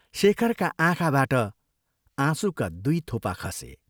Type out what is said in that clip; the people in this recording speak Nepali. शेखरका आँखाबाट आँसुका दुइ थोपा खसे।